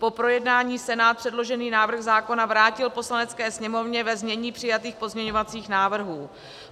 Po projednání Senát předložený návrh zákona vrátil Poslanecké sněmovně ve znění přijatých pozměňovacích návrhů.